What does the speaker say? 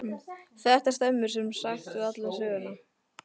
Þetta stemmir sem sagt allt við söguna.